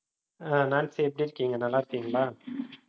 அஹ் Nancy எப்படி இருக்கீங்க நல்லா இருக்கீங்களா